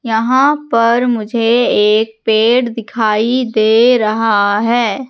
यहाँ पर मुझे एक पेड़ दिखाई दे रहा हैं।